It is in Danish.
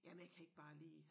Jamen jeg kan ikke bare lige